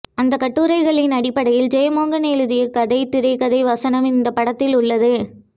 அந்த கட்டுரைகளின் அடிப்படையில் ஜெயமோகன் எழுதிய கதை திரைக்கதை வசனம் இந்தப்படத்தில் உள்ளது